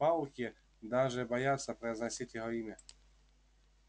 пауки даже боятся произносить его имя